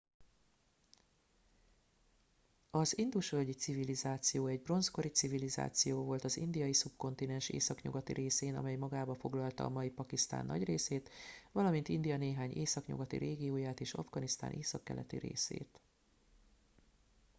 az indus völgyi civilizáció egy bronzkori civilizáció volt az indiai szubkontinens északnyugati részén amely magába foglalta a mai pakisztán nagy részét valamint india néhány északnyugati régióját és afganisztán északkeleti részét